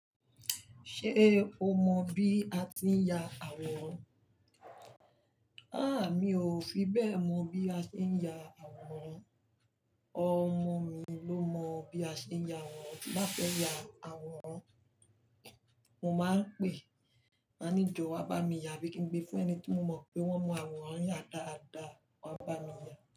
Ṣé o mọ bí a tí ń yà àwòrán? Háà mi ò mọ bí a ti ń yà àwòrán ọmọ mí ló mọ bí a ti ń yà àwòrán. Bí ń bá fẹ́ ya àwòrán, mo máa ń pè, máa ní jọ wá bá mi ya bí kí n gbé fún ẹni tí mo mọ̀ pé wón mọ àwòrán ya dáadáa wá bá mi ya.